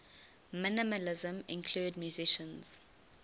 minimalism include musicians